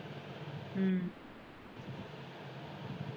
ਹਮ